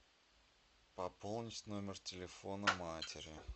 пополнить номер телефона матери